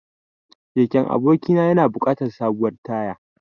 Keken abokina yana buƙatar sabuwar taya.